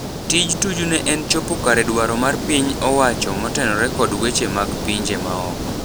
Tij Tuju ne en chopo kare dwaro mar pin owacho motenore kod weche mag pinje maoko.